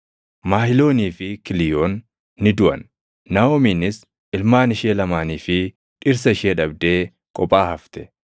Mahiloonii fi Kiliiyoon ni duʼan. Naaʼomiinis ilmaan ishee lamaanii fi dhirsa ishee dhabdee kophaa hafte.